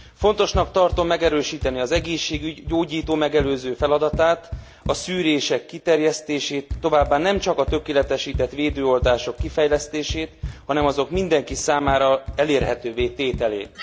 Fontosnak tartom megerősíteni az egészségügy gyógyító megelőző feladatát, a szűrések kiterjesztését, továbbá nemcsak a tökéletesített védőoltások kifejlesztését, hanem azok mindenki számára elérhetővé tételét.